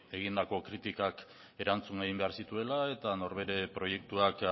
egindako kritikak erantzun egin behar zituela eta norbere proiektuak